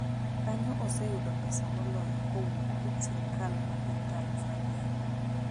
kanyo oseyudo pesa moloyo kowuok kuom sirikal ma piny Tanzania